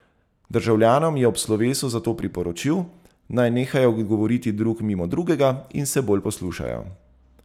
Državljanom je ob slovesu zato priporočil, naj nehajo govoriti drug mimo drugega in se bolj poslušajo.